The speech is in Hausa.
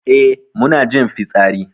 Eh mu na jin fitsari.